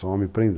Sou homem